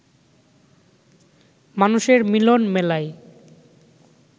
মানুষের মিলন মেলায়